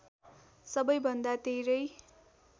सबैभन्दा धेरै